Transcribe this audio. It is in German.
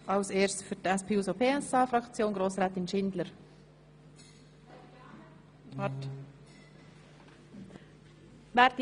Als Erstes hat Grossrätin Schindler für die SP-JUSO-PSA-Fraktion das Wort.